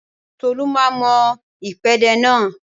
Tolu máa mọ ìpèdè náà